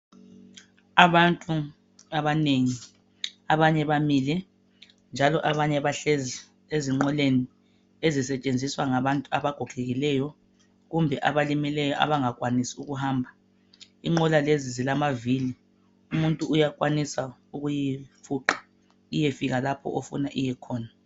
Abantu abanengi. Abanye bamile, njalo abanye bahlezi ezinqoleni ezisetshenziswa ngabantu abagogekileyo, kumbe abalimeleyo abangakwanisi ukuhamba. Inqola lezi zilamavili. Umuntu uyakwanisa ukuyifuqa iyefika lapho ofuna iyekhona.